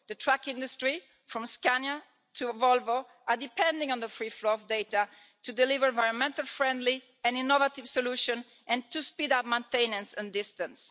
The truck industry, from Scania to Volvo, are depending on the free flow of data to deliver environmentally friendly and innovative solutions and to speed up maintenance at a distance.